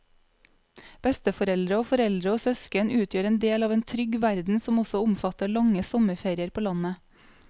Besteforeldre og foreldre og søsken utgjør en del av en trygg verden som også omfatter lange sommerferier på landet.